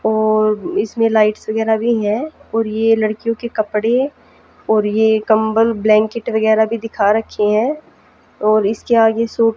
और इसमें लाइट्स वगैरा भी हैं और ये लड़कियों के कपड़े और ये कंबल ब्लैंकेट वगैरा भी दिखा रखे हैं और इसके आगे सु--